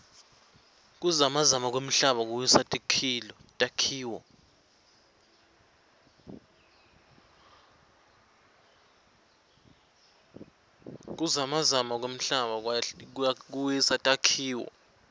kuzamazama kwemhlaba kuwisa takhiloo